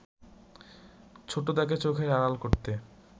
ছোটদাকে চোখের আড়াল করতে